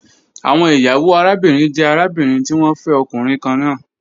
Awọn iyawo arabinrin jẹ arabinrin ti wọn fẹ ọkunrin kanna